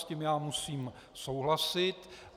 S tím já musím souhlasit.